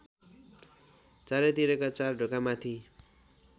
चारैतिरका चार ढोकामाथि